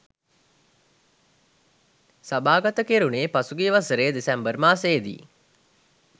සභාගත කෙරුණේ පසුගිය වසරේ දෙසැම්බර් මාසයේ දී